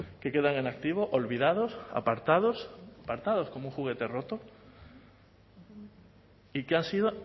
que quedan en activo olvidados apartados apartados como un juguete roto y que han sido